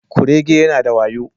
Kurege yana da wayo